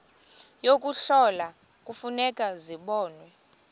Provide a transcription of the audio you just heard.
yokuhlola kufuneka zibonwe